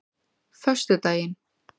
föstudaginn